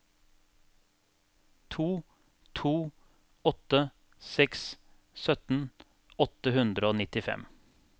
to to åtte seks sytten åtte hundre og nittifem